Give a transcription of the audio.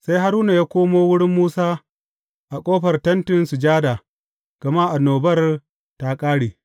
Sai Haruna ya komo wurin Musa a ƙofar Tentin Sujada, gama annobar ta ƙare.